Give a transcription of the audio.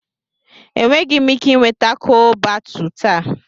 Enweghị m ike ị nweta Chole Bhatuu taa.